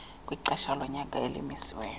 kwexesha lonyaka elimisiweyo